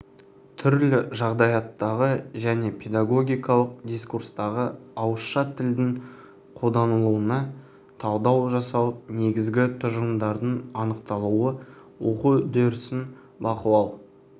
түрлі жағдаяттағы және педагогикалық дискурстағы ауызша тілдің қолданылуына талдау жасау негізгі тұжырымдардың анықталуы оқу үдерісін бақылау